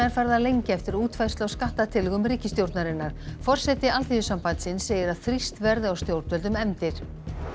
er farið að lengja eftir útfærslu á skattatillögum ríkisstjórnarinnar forseti Alþýðusambandsins segir að þrýst verði á stjórnvöld um efndir